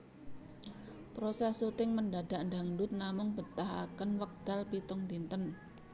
Proses shooting Mendadak Dangdut namung mbetahaken wekdal pitung dinten